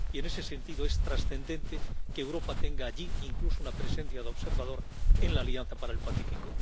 Y, en ese sentido, es trascendente que Europa tenga allí incluso una presencia de observador en la Alianza para el Pacífico.